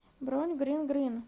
бронь грин грин